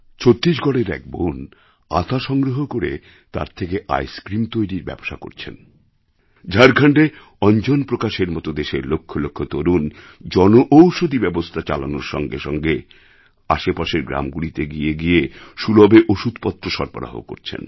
ছত্তিশগড়ের এক বোন আতা সংগ্রহ করে তার থেকে আইসক্রিম তৈরির ব্যবসা করছেন ঝাড়খণ্ডে অঞ্জন প্রকাশের মত দেশের লক্ষ লক্ষ তরুণ জনঔষধি ব্যবস্থা চালানোর সঙ্গে সঙ্গে আশেপাশের গ্রামগুলিতে গিয়ে গিয়ে সুলভে ওষুধপত্র সরবরাহ করছেন